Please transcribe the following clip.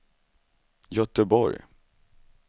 Göteborg